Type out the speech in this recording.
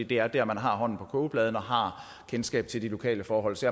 det er der man har hånden på kogepladen og har kendskab til de lokale forhold så